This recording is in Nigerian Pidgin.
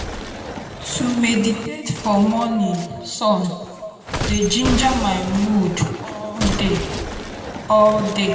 to meditate for morning sun dey ginger my mood all day. day.